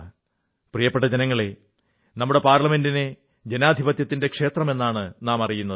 പ്രിയപ്പെട്ട ജനങ്ങളേ നമ്മുടെ പാർലമെന്റിനെ ജനാധിപത്യത്തിന്റെ ക്ഷേത്രമെന്നാണ് നാം പറയുന്നത്